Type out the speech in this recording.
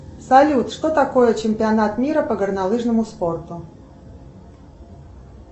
салют что такое чемпионат мира по горнолыжному спорту